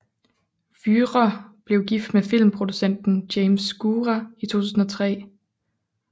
Wührer blev gift med filmproducenten James Scura i 2003